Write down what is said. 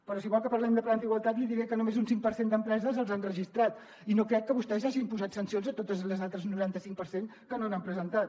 però si vol que parlem de plans d’igualtat li diré que només un cinc per cent d’empreses els ha registrat i no crec que vostè hagi imposat sancions a totes les altres noranta cinc per cent que no n’han presentat